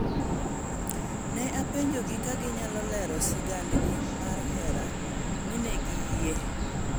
Ne a penjogi ka ginyalo lero sigandgi mar hera mi ne giyie.